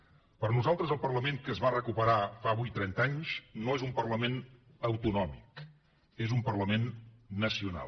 per nosaltres el parlament que es va recuperar fa avui trenta anys no és un parlament autonòmic és un parlament nacional